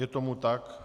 Je tomu tak.